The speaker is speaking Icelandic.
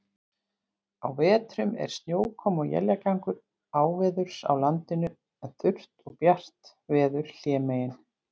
Á vetrum er snjókoma og éljagangur áveðurs á landinu, en þurrt og bjart veður hlémegin.